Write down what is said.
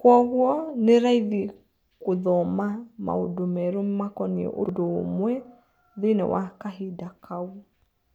Kuogwo nĩraithi gũthoma maũndũ merũ makoniĩ ũndũ ũmwe thĩiniĩ wa kahinda kau.